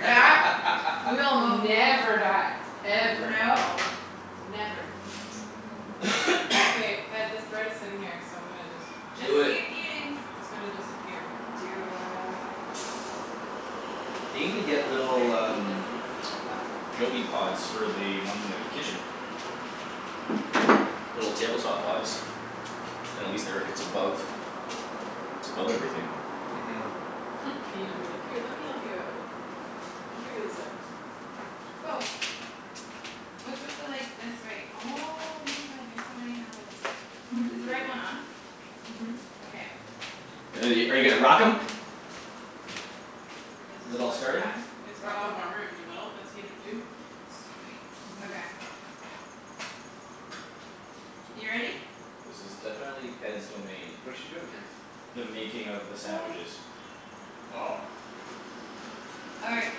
That will never die. Ever. no. Never. Okay, Ped, this bread is sitting here so I'm gonna just Just just Do it keep eating. It's gonna disappear. Do it. They need to get little I um think this needs to go up a little Joby pods for the bit ones in the kitchen. higher. Little table top pods. Then at least they're it's above it's above everything. Mhm. Ian'll be like, "Here, let me help you out." We'll figure this out. Woah. What's with the like this wait oh my god you have so many handles. Is the right one on? Mhm. Okay, I'm Uh are gonna you turn are you that gonna up a rock little 'em? bit. Because Is it's it a all larger starting? pan. It's got the Oh warmer in the okay. middle that's heated too. Sweet, Mhm. okay. You ready? This is definitely Ped's domain. What is she doing here? The making of the sandwiches. Oh. All right,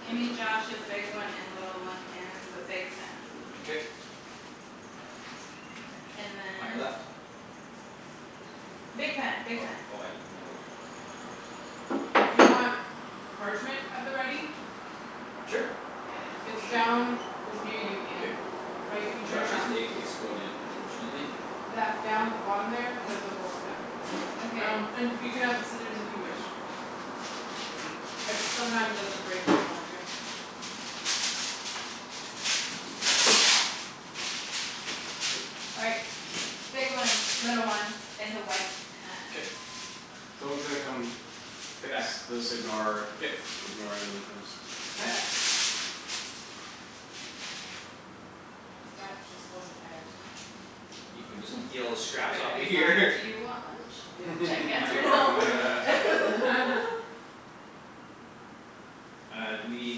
gimme Josh's big one and little one and the big pan. K And then On your left Big pan, big Oh pan. oh I didn't know which one was the big pan. Do you want parchment at the ready? Sure It's Shoot Yes. down It's near you K. Ian, right if you turn Josh's around. egg exploded unfortunately. That down at the bottom there, there's On? a roll of it. Okay. Um and you can have scissors if you wish. It sometimes doesn't break where you want it to. Mkay. All right. Big one, little one in the white K pan. Someone's gonna come fix this ignore K ignore him when he comes. K. Okay. That just wasn't there. You can just eat all the scraps Write off a of big here sign: "Do you want lunch?" Should Yep. I guess On or your no? on on your left Uh do we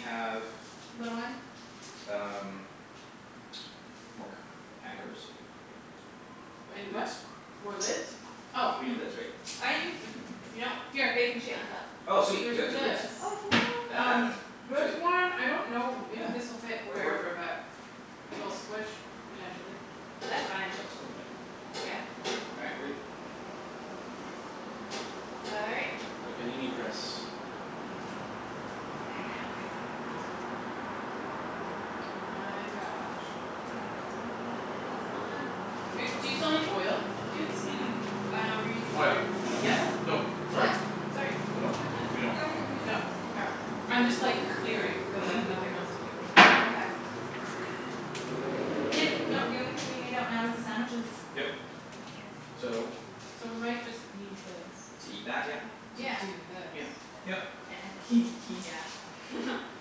have Little one? um More c- pan covers? And a what? Lids? More lids? Oh We need lids right? Oh you can just like if you don't. Here. Baking sheet on top. Oh sweet There's you got two lids this. Oh yes. And that Um one, this sweet one I don't know if Yeah this'll fit that'll work wherever but It'll squish potentially. That's fine. That's totally fine. Yeah? Yeah. All right, we're good. All right. The panini press. And now we wait. My gosh. Um that is on. Do you still need oil, That's dudes? Mm- mm. four. Oh no we're using Oh yeah. butter. Yes? Nope, sorry. What? Sorry No, what's going on? we don't I'm confused. No mkay I'm I just like know. clearing cuz I Mhm have nothing else to do. Okay. Yeah. Ian no the only thing we need out now is the sandwiches. Yep so So we might just need this To eat that? Oh Yeah. To do yes. this. Yeah. Yep. yeah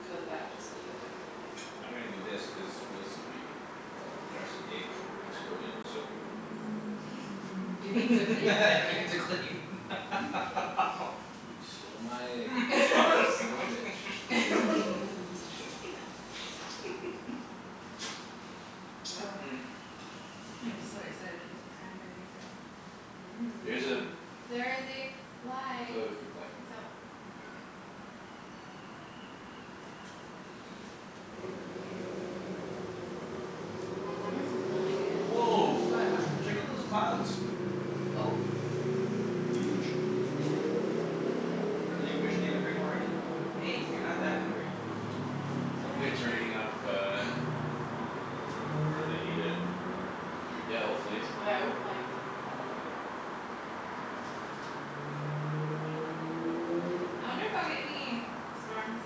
Cuz that just needed to happen. I'm gonna do this cuz realistically Josh's egg exploded so It needs a cleanup right? needs a clean You stole my egg you son of a bitch. Yep. I'm so excited for the cranberry bread. There's a There is a fly. it's a fruit fly. It's out. Yeah. This is when I get impatient. Woah What? What? check out those clouds Oh. They're huge. They are. I really wish they would bring more rain. Hey you're not that hungry. It's Hopefully Chinese it's fruit. raining up uh Up where they need it. Yeah. Yeah hopefully. Without lightning would be good. I'll get any storms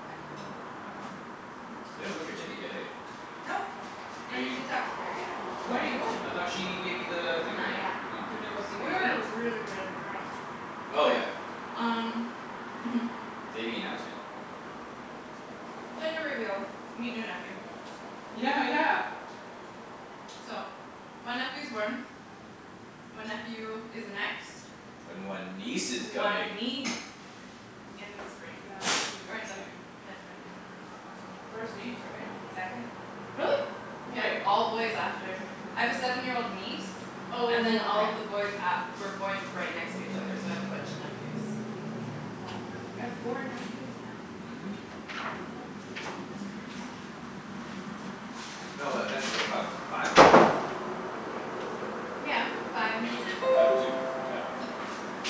Back home. Back home? I hope You so. haven't booked your ticket yet hey? Nope, Are I need you to talk to Kerrianne. When are you going? I thought she gave you the thing Not already? yet. Oh Gonna go see We baby? were really really drunk. Oh yeah Um mhm. Baby announcement Gender reveal. Meet new nephew. Yeah yeah. So, one nephew's born. One nephew is next. And one niece is coming One niece in the spring. That is Or in the exciting. mid-winter. First niece right? Second. Really? Yeah, Wait. all boys after. I have a seven year old niece Oh And then all okay. of the boys a- were born right next to each other so I have a bunch of nephews. I have four nephews now. Mhm. That's crazy. That's a lot. No but eventually you'll have five. Yeah, five and two right? Five I and two. Yeah can't do math.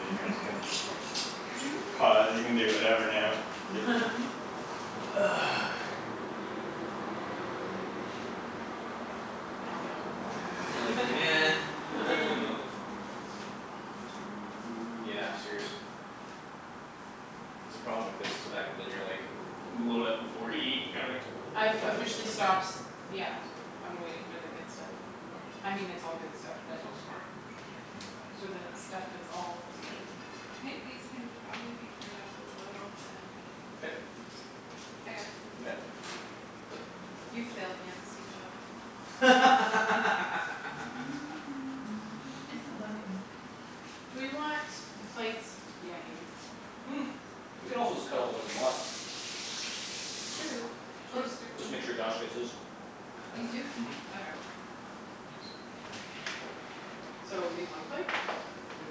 Now we all go quiet. We're like nah Aw food. Yeah seriously. That's the problem with this it's the fact that then you're like load up before you eat I've officially stops. Yeah, I'm waiting for the good stuff. I mean it's all good stuff That's but so smart. For the stuff that's all together. I think these can probably be turned up a little bit. K I got it. You got it? You failed me as a sous chef. I'm taking over. I still love you though. Do we want the plates yeah here. We could also just cut a whole bunch of 'em up. True, should I stick 'em Just make sure Josh gets his. These two? Mhm Okay. So leave one plate? Yeah. Yeah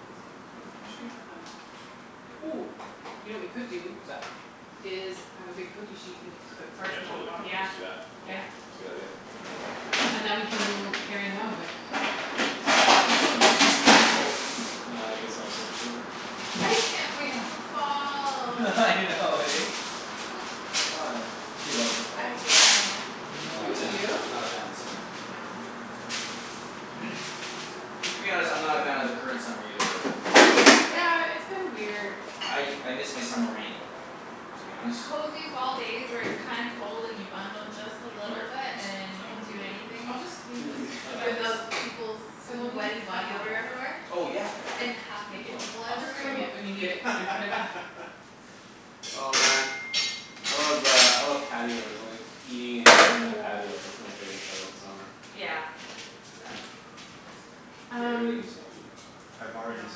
Where should we put them? Ooh, you know what we could do What's that? Is I have a big cookie sheet and we can just put Yeah parchment on the totally. bottom. Let's Yeah, just do that. yeah. K. It's a good idea. And then we can mo- carry them over. Oh so nice. Here we go. It's And I guess I'll set the table. I can't wait Yeah. for fall. I know eh? Why? She loves the fall I hate summer. She's Oh not a You fan do? of she's man. not a fan of the summer. No. To be honest I'm not a fan of the current summer either though. Like. Yeah, it's been weird. I I miss my summer rain to be honest. Cozy fall days where it's kinda cold and you bundle just a Over little here bit and just you I don't can think do we need any of this anything. I'll right just here leave this No and I then don't think just Without peoples' Cuz we'll need sweaty to cut body on odor that. everywhere. Oh yeah right And half Good naked point. people I'll just So everywhere. bring it when you need K it and K put it back. Oh man I love uh I love patios like eating and drinking on patios. That's my favorite part about summer. Yeah. That's K that's great. I really Um gotta stop eating. I know.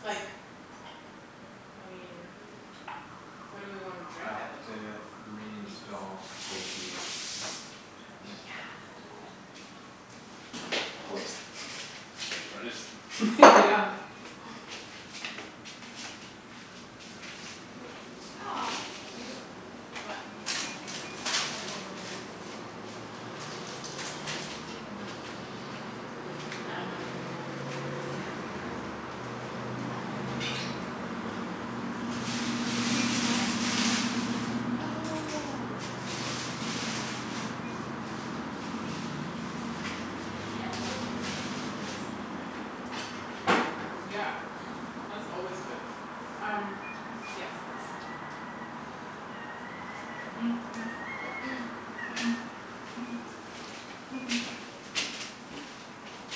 Like I mean What do we wanna drink out of? These. Yes. Oops. Tryin' to just Mhm. Yeah. Aw it's cute. What? Like a cute old couple over there. Eating lunch. I don't know if they're old. I like just Where can't are they? see far. In that building. With the Canadian flag? Oh They have clothes on, so that's coolness. Yeah, that's always good. Um. Yes, this.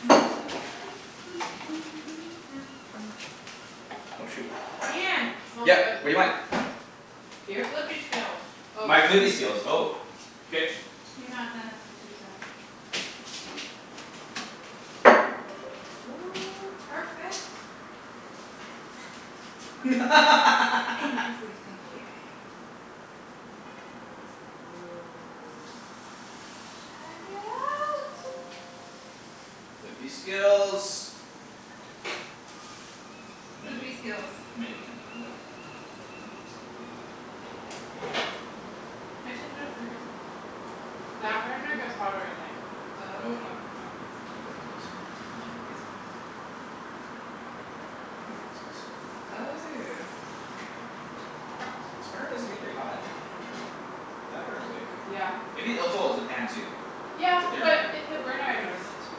Oh shoot Ian. Smells Yeah good. what do you want? Your Here? flippy skills. Oh. My flippy skills oh K You're not done as my sous chef. Oh perfect. I am perfect. In every single way. Woah. Check it out. Flippy skills You might Flippy need you skills. might need to turn that one down. It's getting pretty hot I turned it up for a reason. That burner gets hotter I think. Oh Oh okay. not like not nope no flippy skills. No flippy skills. Check that one. No flippy skills. Oh. This burner doesn't get very hot. That burner's like Yeah. Maybe oh it's oh it's the pan too. Yeah It's a thinner but pan. it the burner I notice it too.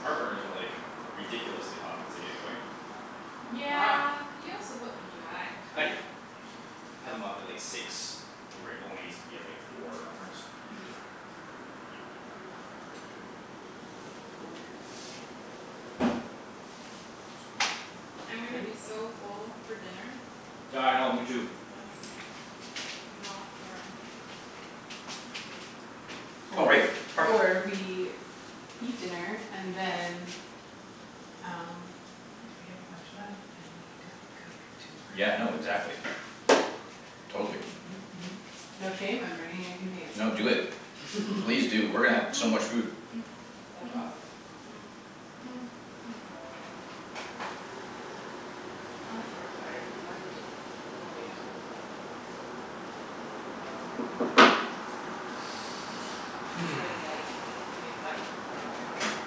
Our burners are like ridiculously hot once they get going. Wow. Yeah. You also put them too high. I do. I had them up at like six where it only needs to be four on ours. Yeah. Cool. I'm gonna be Nice. so full for dinner. Yeah I know me too. Yes, you know for uh Oh Or right, parking. or we Eat dinner and then Um if we have a bunch left then we don't cook Yeah tomorrow. no exactly. Totally. Mhm mhm mhm. No shame, I'm bringing a container. No do it please do we're gonna have so much food. That's awesome. I'm so excited for dunch Oh yeah. Would you like light? We can make light happen.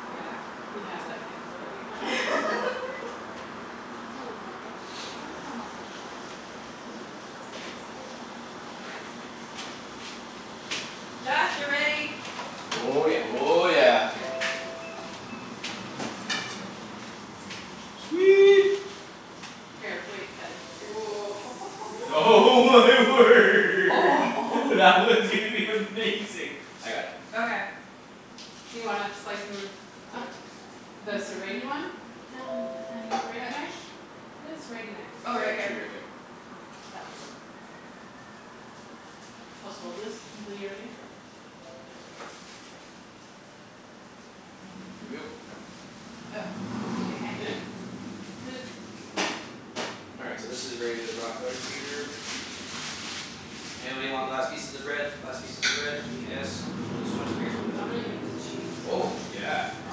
Yeah, we have that capability now. Aw, that's a Oh shame. no. Josh, you're ready. Oh yeah. Oh yeah. Here. Sweet. Sweet. Here, wait, Ped, here. Oh my word that one's gonna be amazing. I got it. Okay You wanna slice 'em Yeah up? The I'm gonna serrate-y turn one? it down a tiny serrate-y knife? touch. Where's the serrate-y knife? I Oh right got here. two right there. That will work probably good. I'll just hold this until you're ready. Here we go. Oh. Lid. Lid All right so this is where you rock outta here. Anybody want last pieces of bread? Last pieces of bread? Yeah Yes? This one? I guess we can put I'm that gonna one in eat there. this cheese. Oh yeah. I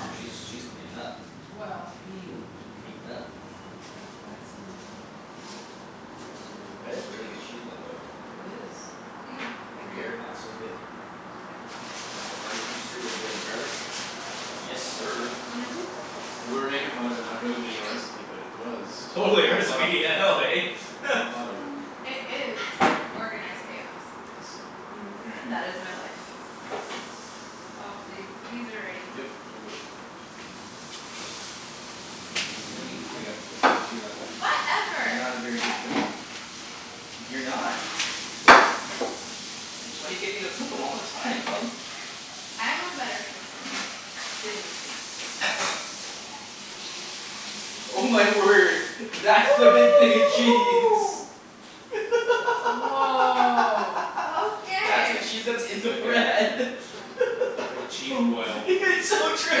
know she's she's cleanin' up Well I mean Cleanin' up. It's like blasphemy. You have to do That is it. a really good cheese blend though. It is. Think Thank you gruyere in that's so good. There And the havarti comes through with a bit of garlic. Yes sir. Mhm And we're making fun of it not being a recipe but it was. We Totally a all thought recipe I know eh? Well thought of. Um it is organized chaos. Yes. Mhm All right. That is my life. Aw th- these are ready. Yep, totally. Lemme I got it you're not You're Whatever. not a very good flipper. You're not. That's why you get me to flip 'em all the time, love. I am a better flipper Than you think. Oh my word. That's the big thing of cheese. Woah That's the Okay cheese that's in It's the like a bread. It's like a cheese Boom boil. It's so true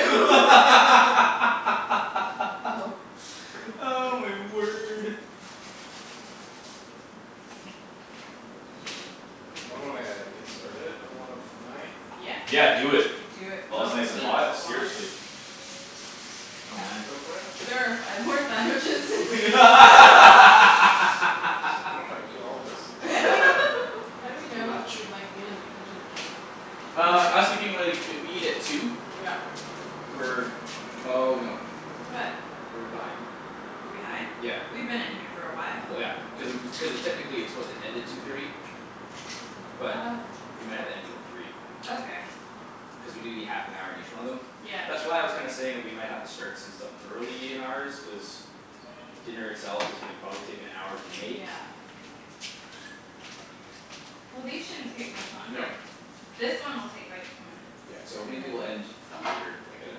Oh Oh god. my word. So I'm There gonna get started on one of my Yeah Yeah do it. Do it. While Go. it's nice Does and Eat. anyone hot, else wanna? seriously. Oh man. Go for it? There are five more sandwiches. I dunno if I can eat all of this. How do we how do we It's too know if much we've like been in the kitchen long enough? Uh I was thinking more like if we eat at two Yeah We're oh no What? We're behind. We're behind? Yeah. We've been in here for a while. Well yeah. Cuz cuz uh technically it's supposed to end at two thirty. But Oh we might have to end it at three. Okay Cuz we need to be half an hour in each one of them. Yeah That's why I was kinda saying that we might have to start some stuff early in ours cuz Dinner itself is probably gonna take an hour to make. Yeah Well these shouldn't take much No. longer. This one will take like two minutes. Yeah so And maybe then we'll end later like at uh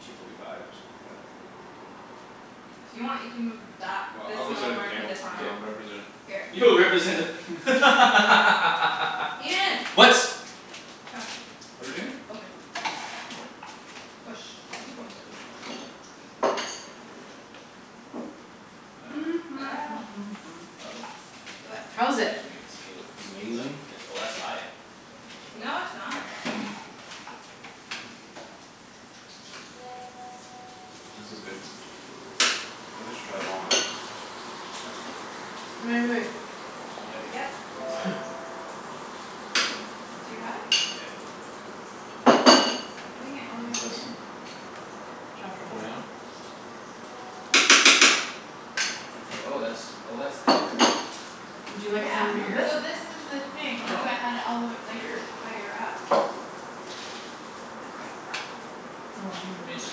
two forty five or something like that. If you want you can move that Well this I'll go one sit at over the and put table this on and I'll K. represent Here You'll represent the Ian What? Come. What're we doing? Open. Push One second. Uh Uh oh. What? That How is it? actually might s- feel like it's done. Amazing. Oh that's high. No it's not This is good. Feel I should try them all eh? Wai- wai- wait Yeah babe, Yep it's high. Too high? Yeah. Putting it all the way What's on this? min. Truffle Truffle mayo mayo? Oh Okay that's oh that's there. Would you like Yeah some of Weird this? so this is the thing that's Sure why I had it all the w- Oh like weird. higher up That's good. Oh hang on I mean one it just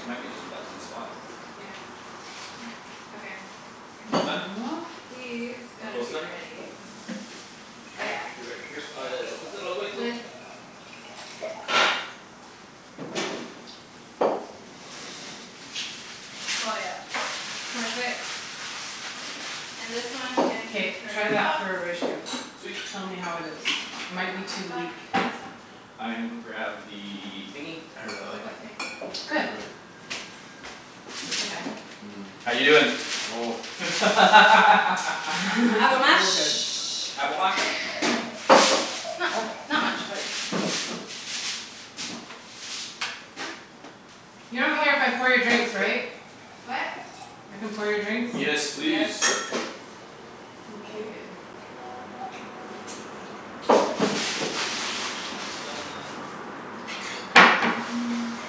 it might be just be that one spot Yeah Okay I think Almost done? These All gotta close be to done? ready. Oh yeah. They're ready uh all the way, go. Lid Oh yep. Perfect. And this one can be K turned try that off. for a ratio. Sweet Tell me how it is. It Put it might be on the too back weak. I gonna go grab the thingy I really like What it. thing? It's Good. perfect. Okay. How you doin'? Avo Oh mash. good Avo mash. Not uh not much but You don't care if I pour your drinks Sorry. right? What? I can pour your drinks? Yes Yes please. Okay That's done.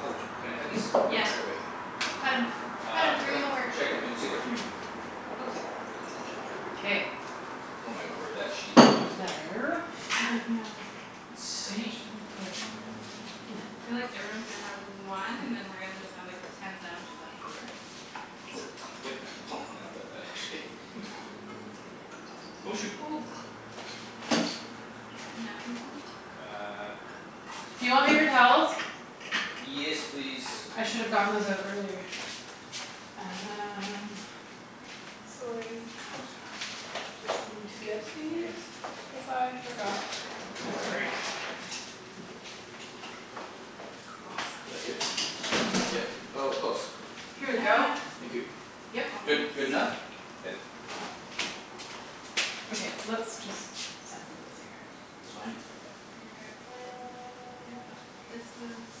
Oh can I cut these? Yeah Should I wait? cut 'em cut 'em Uh cut bring 'em 'em over. should I cut 'em in two or three? Go two K K Oh my word that cheese block is like There I know How much Insane. did I put in it? Feel like everyone's gonna have one and then we're just gonna have like ten sandwiches left over. Yep. I don't doubt that actually Oh shoot. Napkin somewhere? Uh Do you want paper towels? Yes please. I should've gotten those out earlier. Um Sorry Just need to get these cuz I forgot before. Is Awesome that good? Yep. Oh close. Here we go. Yeah Thank you. Yep. Good. Almost Good enough? Good? Okay, let's just sample this here. Just behind you. Okay Yep nope this one's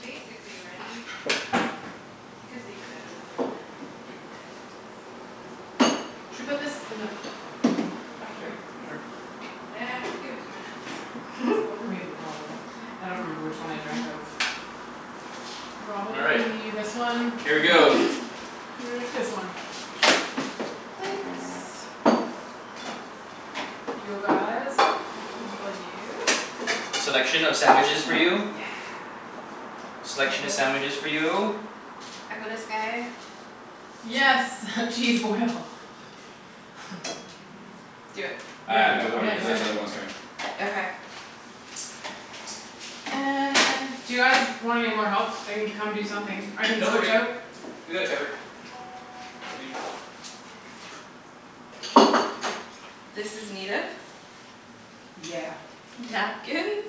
Basically ready. Could leave it in another minute. K Let's see what this one's doing. Should put this in the Not yet. back Almost here. ready? Sure Yeah give it two minutes. K Let's go over. We have a problem. K I and don't then I'll remember come which check one in I two drank minutes. out of. All right, Probably this one. here we Wait. go. This one. Plates You guys One for you Selection of sandwiches for you. Yes Selection of sandwiches for you. I got us guy Yes cheese boil. Do it. Yeah Uh Think no we got I'm yeah it. cuz yeah there's other ones coming. Okay okay. And Do you guys want any more help? I can come do something. I can No we're switch good. out We got it covered. I think. This is needed. Yeah Napkins.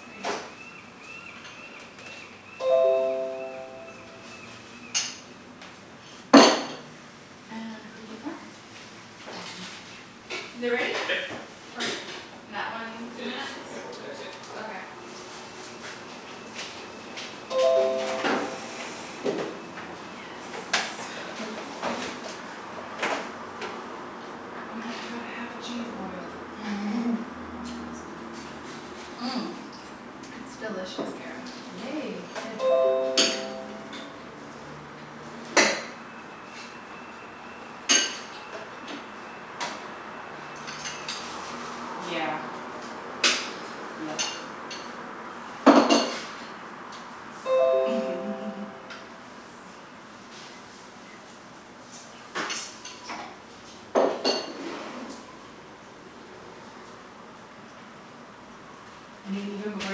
Sorry And Awesome Is it ready? Yep. Perfect. That one, It two just minutes? couple of minutes yeah. Okay Yes Yes Oh yeah I got half a cheese boil. That's awesome. It's delicious, Kara. Yay good Yeah Yep I mean even before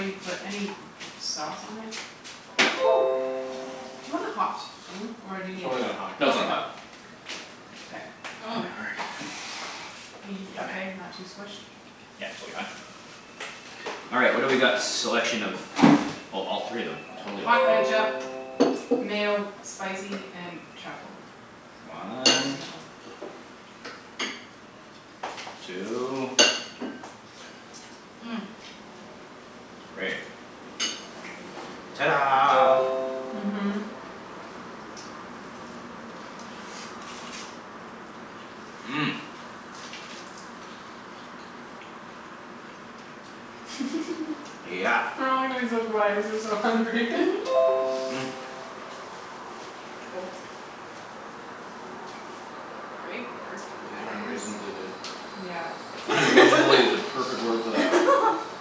you put any sauce on it Do you wanna hot thing? Or do you It's need really not hot. No it's not probably hot. not K Oh my word Are you yummy okay? Not too squished? Yeah totally fine. All right, what do we got selection of? Oh totally all three of them. Totally all Hot three. ketchup, mayo, spicy, and truffle. One. Mayo Two. Three. Ta da Mhm Mhm Yeah We're all gonna be so quiet cuz we're so hungry These are unreasonably good. Yeah "Unreasonably" is the perfect word for that.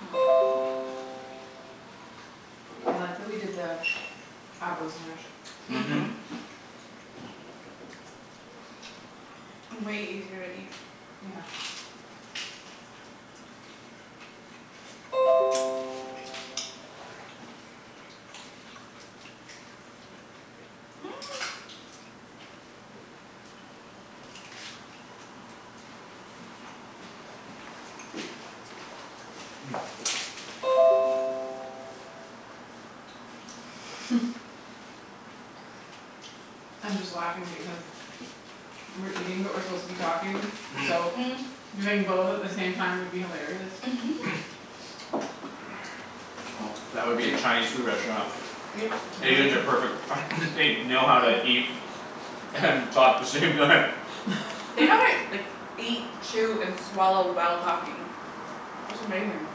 I like that we did the avos mashed Mhm. Mhm Way easier to eat. Yeah I'm just laughing because We're eating but we're supposed to be talking so Doing both at the same time would be hilarious Well that would be a Chinese food restaurant. Yep Really? Asians are perfect they know how to eat And talk the same time. They know how to like eat chew and swallow while talking. That's amazing.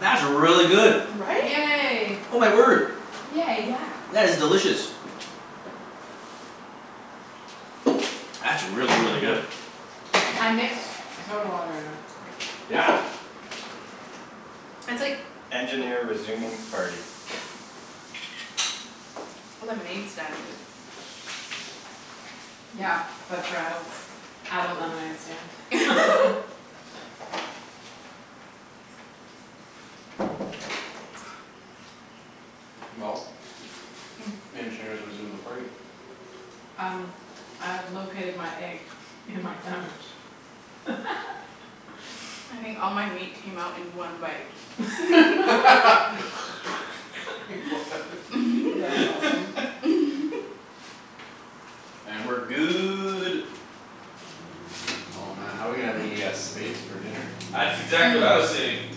That's really good. Right? Yay Oh my word, Yay Yeah that's delicious. That's really really good. I mixed soda water in it. Yeah. That's like Lemonade stand good Yeah. But for adults. Adult lemonade stand. Well, the engineer's resumed the party. Um I've located my egg in my sandwich. I think all my meat came out in one bite. That's awesome. And we're good. Oh man how we gonna have any uh space for dinner? That's exactly what I was saying.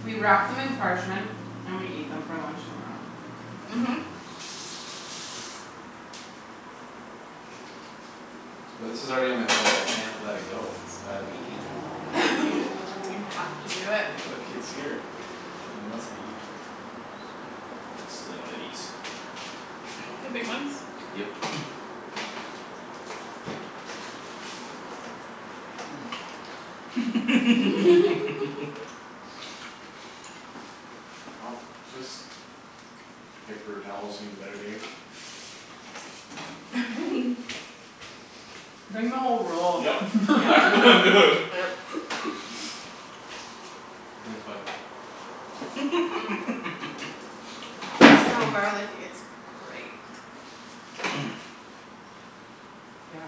We wrap them in parchment and we eat them for lunch tomorrow. Mhm But this is already on my plate I can't let it go it's gotta be eaten. I have to eat it. You have to do it. Look it's here. It must be eaten. Stealing one of these. The big ones? Yep Well this paper towel's seen better days. Bring the whole roll. Yup, Yeah. it's exactly what I'm doing. Yep. Thanks bud So garlicky it's great Yeah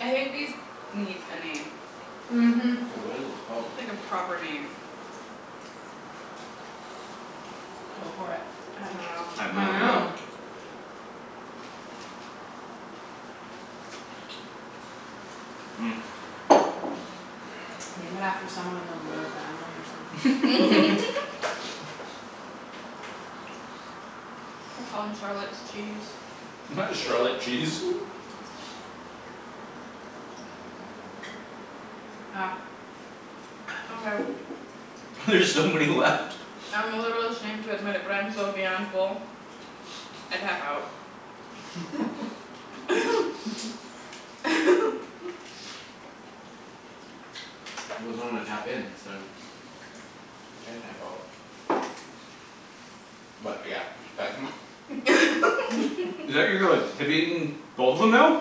I think these need a name Mhm What is this called? Like a proper name. Go for it. I dunno I have no I idea. know. Name it after someone in the royal family or something We'll call 'em Charlotte's cheese. Why Charlotte cheese? Ah Okay There's so many left I'm a little ashamed to admit it but I am so beyond full I tap out. He doesn't wanna tap in so You can't tap out. But yeah, we should pack 'em up Is that you're you're like have you eaten both of them now?